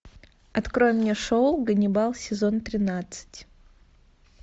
открой мне шоу ганнибал сезон тринадцать